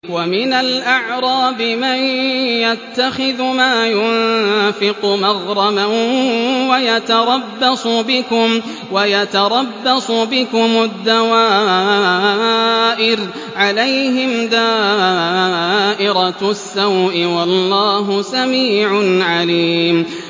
وَمِنَ الْأَعْرَابِ مَن يَتَّخِذُ مَا يُنفِقُ مَغْرَمًا وَيَتَرَبَّصُ بِكُمُ الدَّوَائِرَ ۚ عَلَيْهِمْ دَائِرَةُ السَّوْءِ ۗ وَاللَّهُ سَمِيعٌ عَلِيمٌ